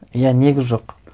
иә негіз жоқ